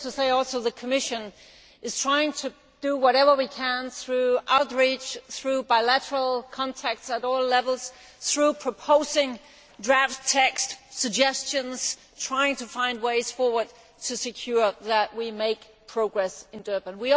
Needless to say, the Commission is trying to do whatever it can through outreach, through bilateral contacts at all levels, through proposing draft texts, suggestions, and by trying to find ways forward to ensure that we make progress in Durban.